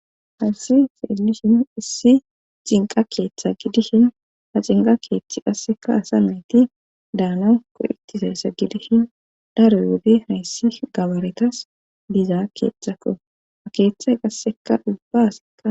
hayisi xeelishin issi cinqa keeththa gidishin ha cinqa keeththi qaseka asa meyti daana ko7itizayssa gidishin daroy wodi hayssi gabaretas biza keeththakko ha keeththay qaseka ubbasa